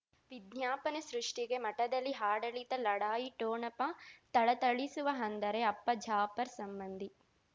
ವಿಜ್ಞಾಪನೆ ಸೃಷ್ಟಿಗೆ ಮಠದಲ್ಲಿ ಆಡಳಿತ ಲಢಾಯಿ ಠೋಣಪ ಥಳಥಳಿಸುವ ಅಂದರೆ ಅಪ್ಪ ಜಾಫರ್ ಸಂಬಂಧಿ